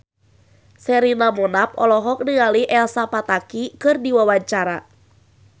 Sherina Munaf olohok ningali Elsa Pataky keur diwawancara